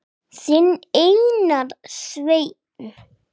Þinn Einar Sveinn.